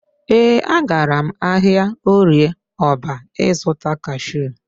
Ee, agara m ahịa Orịe Ọrba ị zụta kashu.